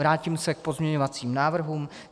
Vrátím se k pozměňovacím návrhům.